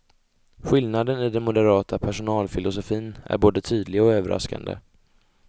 Skillnaden i den moderata personalfilosofin är både tydlig och överraskande.